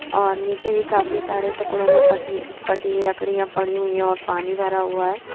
और नीचे भी काफी सारे टुकड़ों में पटी पटी लकड़ियां पड़ी हुई और पानी भरा हुआ है।